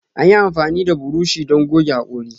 Anyi amfani da buroshi don gogge hakori.